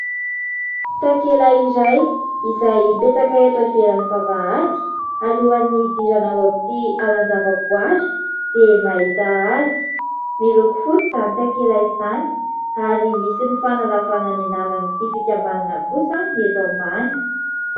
Takela iray izay mipetraka eto ivelan'ny vavahady, alohan'ny hidirana ao amin'ity alan-javaboary dia mahita azy, miloko fotsy izany takela izany ary misy ny fanalavana ny anaran'ity fikambanana kosa ny eto ambany.